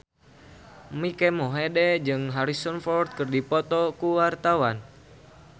Mike Mohede jeung Harrison Ford keur dipoto ku wartawan